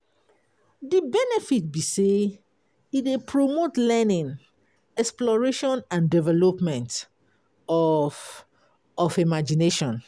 Di benefit be say e dey promote learning, exploration and development of of imagination.